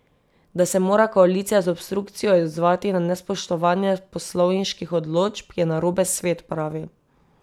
Da se mora koalicija z obstrukcijo odzvati na nespoštovanje poslovniških določb, je narobe svet, pravi.